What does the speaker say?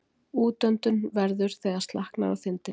Útöndun verður þegar slaknar á þindinni.